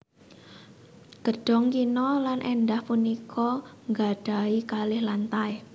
Gedhong kina lan èndah punika nggadhahi kalih lantai